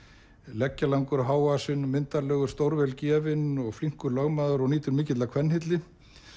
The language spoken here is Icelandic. leggjalangur hávaxinn og myndarlegur stórvel gefinn og flinkur lögmaður og nýtur mikillar kvenhylli